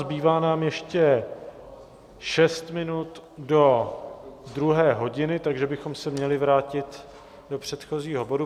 Zbývá nám ještě šest minut do druhé hodiny, takže bychom se měli vrátit do předchozího bodu...